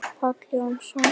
Páll Jónsson